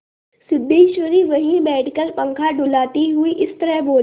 सिद्धेश्वरी वहीं बैठकर पंखा डुलाती हुई इस तरह बोली